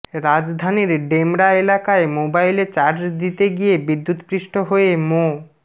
রাজধানীর ডেমরা এলাকায় মোবাইলে চার্জ দিতে গিয়ে বিদ্যুৎস্পৃষ্ট হয়ে মো